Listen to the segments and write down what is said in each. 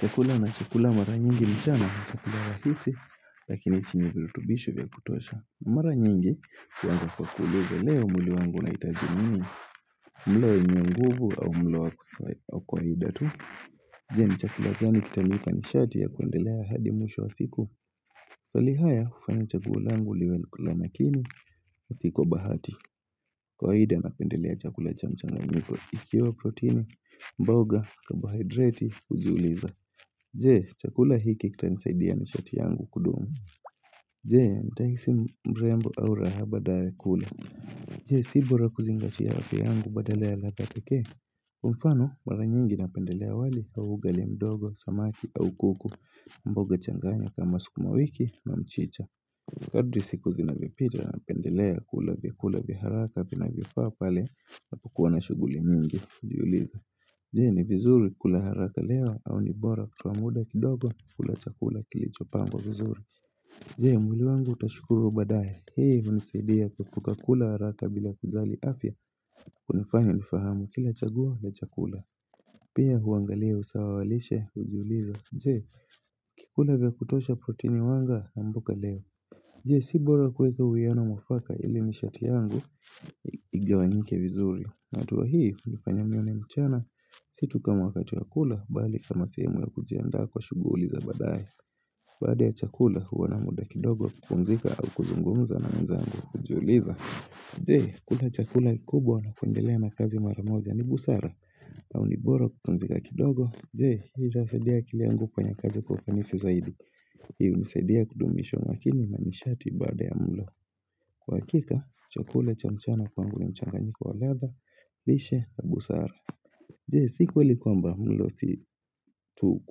Chakula na chakula mara nyingi mchana, chakula rahisi, lakini chinye kilitubishi vya kutosha. Mara nyingi huanza kwa kukuuliza leo mwili wangu unahitaji nini, mlo wenye nguvu au mlo wa kawaida tu. Jee, ni chakula gani kitalika ni shati ya kuendelea hadi mwisho wa siku. Falihaya, hufana chaguoa langu liwe nakula lakini, si kwa bahati. Kawaida, napendelea chakula chamchana mwiko ikiwa proteini, mboga, kabohidrati, ujuliza. Jee, chakula hiki kitanisaidia nishati yangu kudumu Jee, nitahisi mrembo au raha baada ya kula Jee, sibora kuzingati afya yangu badale ya ladha pekee mfano, mara nyingi napendelea wali au ugali mdogo, samaki au kuku mboga changanya kama sukuma wiki na mchicha Kadri siku zinavyovipita napendelea kula vyakula vya haraka vinavyfaa pale napukuwa na shughuli nyingi, Jee ni vizuri kula haraka leo au ni bora kutoa muda kidogo kula chakula kilichopangwa vizuri Jee mwili wangu utashukuru badaye Hii hunisaidia kuhepuka kula haraka bila kijali afya kunafanya nifahamu kila chaguo la chakula Pia huangalia usawa walishe hujuliza Jee kikula vyakutosha protini wanga ambuka leo Jee si bora kuweka uiano mwafaka ili nishati yangu igawanyike vizuri hatua hii hulifanya mione mchana situkama wakati wakula bali kama sehemu ya kujianda kwa shuguli za badaye Bada ya chakula huwa na muda kidogo kukunzika au kuzungumza na mzangu kujiuliza Jee kula chakula kikubwa na kuendelea na kazi maramoja ni busara au nibora kupumzika kidogo Jee hii itasaidiai akili yangu kanye kazi kwa ufanisi zaidi Hii hunisaidia kudumisha umakini na nishati baada ya mlo Kwa hakika chakula cha mchana kwangu ni mchanganyiko wa latha bishe na busara je si kweli kwamba mlo si tu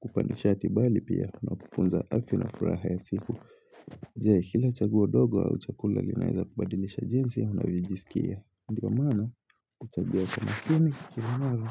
kupandishati bali pia inakufunza haki na furaha ya siku je kila chaguo ndogo au uchakula linaweza kubadilisha jinsia unavijisikia ndivyo maana huchagua chamakini kila mara.